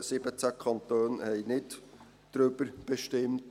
17 Kantone haben nicht darüber bestimmt.